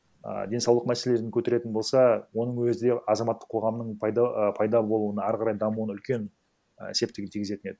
а деңсаулық мәселелерін көтеретін болса оның өзі де азаматтық қоғамның і пайда болуын әрі қарай дамуына үлкен і септігін тигізетін еді